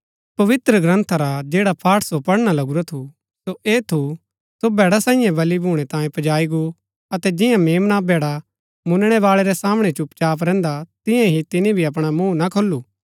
पवित्रग्रन्था रा जैडा पाठ सो पढ़णा लगुरा थू सो ऐह थू सो भैड़ा सांईये बलि भूणै तांयें पजाई गो अतै जिंआं मेम्ना भैडा मुनणैवाळै रै सामणै चुपचाप रैहन्दा तियां ही तिनी भी अपणा मूँह ना खोलू